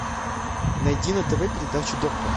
найди на тв передачу доктор